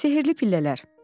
Sehrli pillələr.